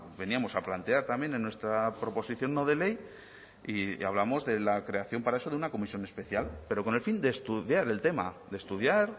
veníamos a plantear también en nuestra proposición no de ley y hablamos de la creación para eso de una comisión especial pero con el fin de estudiar el tema de estudiar